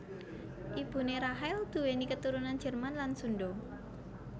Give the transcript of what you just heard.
Ibuné Rachel nduwèni katurunan Jerman lan Sundha